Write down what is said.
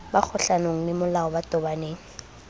ba kgohlanong lemolao ba tobaneng